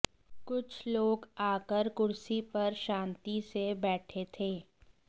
कुछ लोग आकर कुर्सी पर शांति से बैठे थे